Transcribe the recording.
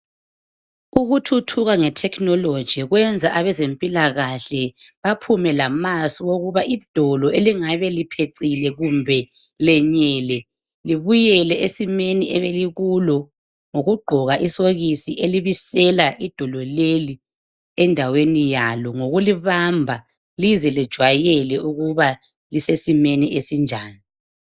Ukuthuthuka nge technology kwenza abezempilakahle baphume lamasu owokuba idolo elingabe liphecile kumbe lenyele libuyele esimeni ebelikulo ngokugqoka isokisi elibisela idolo leli endaweni yalo ngokulibamba lize lejwayele ukuba lisesimeni esinjani.